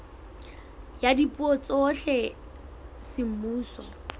ya dipuo tsohle tsa semmuso